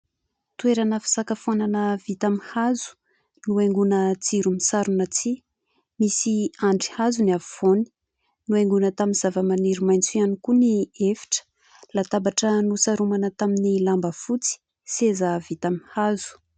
Toerana fisakafoanana vita amin'ny hazo , nohaingoina jiro misarona tsihy , misy andriazo ny afovoany , nohaingoina tamin'ny zava-maniry maitso ihany koa ny efitra ; latabatra nosaromana tamin'ny lamba fotsy , seza vita amin'ny hazo.